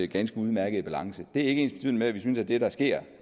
ganske udmærket balance det er ikke ensbetydende med at vi synes at det der sker